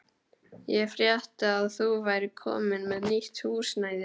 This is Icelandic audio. Ég frétti að þú værir komin með nýtt húsnæði.